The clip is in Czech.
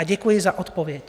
A děkuji za odpověď.